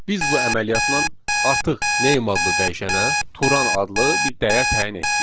Biz bu əməliyyatla artıq name adlı dəyişənə Turan adlı bir dəyər təyin etdik.